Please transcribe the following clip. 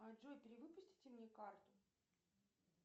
а джой перевыпустите мне карту